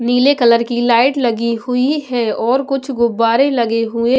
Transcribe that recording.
नीले कलर की लाइट लगी हुई है और कुछ गुब्बारे लगे हुए--